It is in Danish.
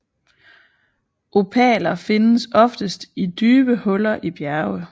Opaler findes oftest i dybe huller i bjerge